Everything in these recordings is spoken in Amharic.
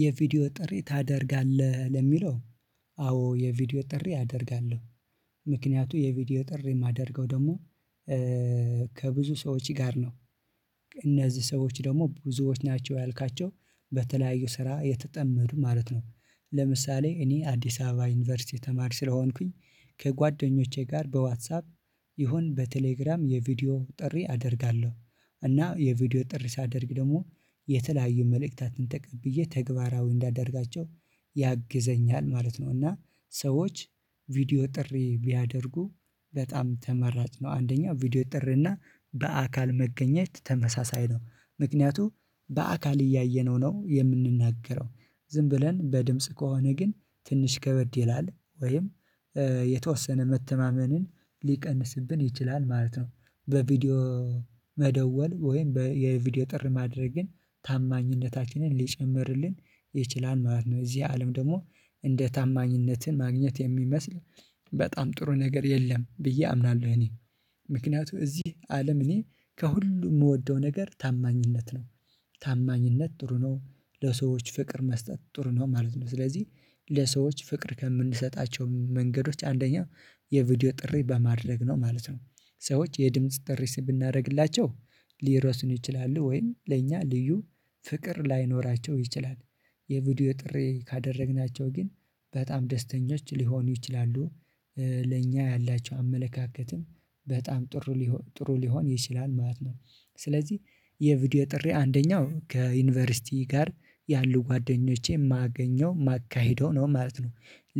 የቪዲዮ ጥሪ ታደርጋለህ ለሚለው? አዎ የቪዲዮ ጥሪ አደርጋለሁ። ምክንያቱ የቪዲዮ ጥሪ የማደርገው ደግሞ ከብዙ ሰዎች ጋር ነው። እነዚህ ሰዎች ደግሞ ብዙዎች ናቸው ያልካቸው በተለያዩ ስራ የተጠመዱ ማለት ነው። ለምሳሌ እኔ አዲስ አበባ ዩኒቨርሲቲ ተማሪ ስለሆንኩኝ ከጓደኞቼ ጋር በዋትሳፕ ይሁን በቴሌግራም የቪዲዮ ጥሪ አደርጋለሁ። እና የቪዲዮ ጥሪ ሳደርግ ደግሞ የተለያዩ መልእክታትን ተቀብዬ ተግባራዊ እንዳደርጋቸው ያግዘኛል ማለት ነው። እና ሰዎች ቪዲዮ ጥሪ ቢያደርጉ በጣም ተመራጭ ነው። አንደኛው ቪዲዮ ጥሪና በአካል መገኘት ተመሳሳይ ነው ምክንያቱም በአካል እያየነው ነው የምንናገረው ዝም ብለን በድምጽ ከሆነ ግን ትንሽ ከበድ ይላል ወይም የተወሰነ መተማመንን ሊቀንስብን ይችላል ማለት ነው። በቪዲዮ መደወል ወይም በየቪዲዮ ጥሪ ማድረግ ግን ታማኝነታችንን ሊጨምርልን ይችላል ማለት ነው። እዚህ አለም ደግሞ እንደ ታማኝነትን ማግኘት የሚመስል በጣም ጥሩ ነገር የለም ብዬ አምናለሁ እኔ። ምክንያቱም እዚህ አለም እኔ ከሁሉ የምወደው ነገር ታማኝነት ነው። ታማኝነት ጥሩ ነው ለሰዎች ፍቅር መስጠት ጥሩ ነው ማለት ነው ስለዚህ ለሰዎች ፍቅር ከምንሰጣቸው መንገዶች አንደኛው የቪዲዮ ጥሪ በማድረግ ነው ማለት ነው። ሰዎች የድምጽ ጥሪ ብናረግላቸው ሊረሱን ይችላሉ ወይም ለእኛ ልዩ ፍቅር ላይኖራቸው ይችላል። የቪዲዮ ጥሪ ካደረግናቸው ግን በጣም ደስተኞች ሊሆኑ ይችላሉ ለእኛ ያላቸው አመለካከትም በጣም ጥሩ ሊሆን ጥሩ ሊሆን ይችላል ማለት ነው። ስለዚህ የቪዲዮ ጥሪ አንደኛው ከዩኒቨርሲቲ ጋር ያሉ ጓደኞቼን ማገኘው ማካሄደው ነው ማለት ነው።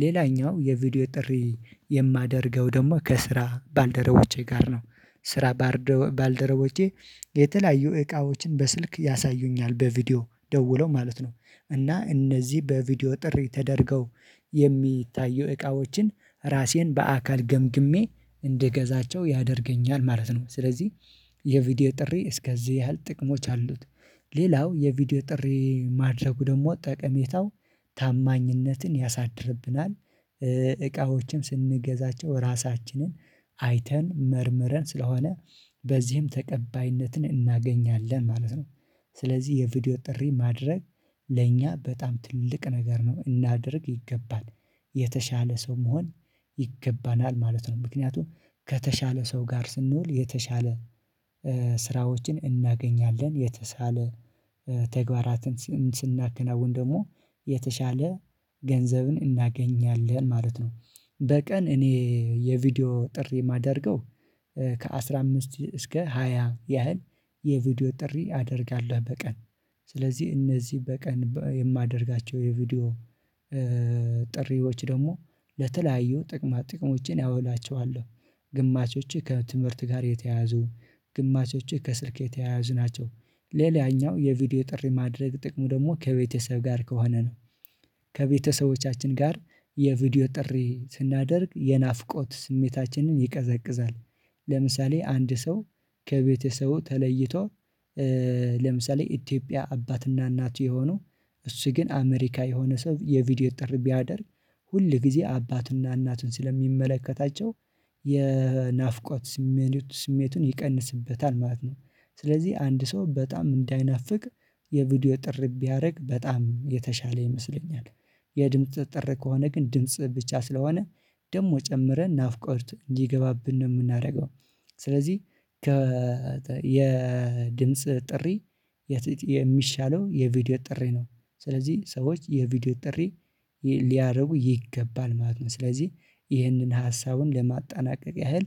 ሌላኛው የቪዲዮ ጥሪ የማደርገው ደግሞ ከስራ ባልደረቦቼ ጋር ነው ስራ ባልደረቦቼ የተለያዩ እቃዎችን በስልክ ያሳዩኛል በቪዲዮ ደውለው ማለት ነው። እና እነዚህ በቪዲዮ ጥሪ ተደርገው የሚታየው እቃዎችን ራሴን በአካል ገምግሜ እንድገዛቸው ያደርገኛል ማለት ነው። ስለዚህ የቪዲዮ ጥሪ እስከዚህ ያህል ጥቅሞች አሉት ሌላው የቪዲዮ ጥሪ ማድረጉ ደግሞ ጠቀሜታው ታማኝነትን ያሳድርብናል ስንገዛቸው ራሳችንን አይተን መርምረን ስለሆነ በዚህም ተቀባይነትን እናገኛለን ማለት ነው። ስለዚህ የቪዲዮ ጥሪ ማድረግ ለእኛ በጣም ትልቅ ነገር ነው እናድርግ ይገባል የተሻለ ሰው መሆን ይገባናል ማለት ነው። ምክንያቱም ከተሻለ ሰው ጋር ስንኖር የተሻለ ስራዎችን እናገኛለን የተሻለ ተግባራትን ስናከናውን ደግሞ የተሻለ ገንዘብን እናገኛለን ማለት ነው። በቀን እኔ የቪዲዮ ጥሪ የማደርገው ከአሥራ አምስት እስከ ሃያ ያህል የቪዲዮ ጥሪ አደርጋለሁ በቀን። ስለዚህ እነዚህ በቀን የማደርጋቸው የቪዲዮ ጥሪዎች ደግሞ ለተለያዩ ጥቅማ ጥቅሞችን አውላቸዋለሁ ግማሾችህ ከትምህርት ጋር የተያያዙ ግማሾችህ ከስልክ የተያያዙ ናቸው። ሌላኛው የቪዲዮ ጥሪ ማድረግ ጥቅሙ ደግሞ ከቤተሰብ ጋር ከሆነ ነው። ከቤተሰቦቻችን ጋር የቪዲዮ ጥሪ ስናደርግ የናፍቆት ስሜታችንን ይቀዘቅዛል። ለምሳሌ አንድ ሰው ከቤተሰቡ ተለይቶ ለምሳሌ ኢትዮጵያ አባትና እናት የሆኑ እሱ ግን አሜሪካ የሆነ ሰው የቪዲዮ ጥር ቢያደርግ ሁል ጊዜ አባትና እናትን ስለሚመለከታቸው ስሜቱን ይቀንስበታል ማለት ነው። ስለዚህ አንድ ሰው በጣም እንዳይናፍቅ የቪዲዮ ጥር ቢያደርግ በጣም የተሻለ ይመስለኛል። የድምጽ ጥሪ ከሆነ ግን ድምጽ ብቻ ስለሆነ ደግሞ ጨምረን ናፍቆት እንዲገባብን ነው የምናደርገው። ስለዚህ ከ የድምጽ ጥሪ የሚሻለው የቪዲዮ ጥሪ ነው። ስለዚህ ሰዎች የቪዲዮ ጥሪ ሊያደርጉ ይገባል ማለት ነው። ስለዚህ ይህንን ሀሳቡን ለማጠናቀቅ ያህል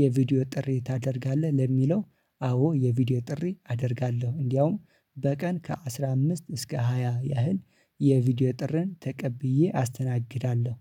የቪዲዮ ጥሪ ታደርጋለህ ለሚለው? አዎ የቪዲዮ ጥሪ አደርጋለሁ እንድያውም በቀን ከአሥራ አምስት እስከ ሃያ ያህል የቪዲዮ ጥርን ተቀብዬ አስተናግዳለሁ።